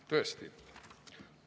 Tõesti!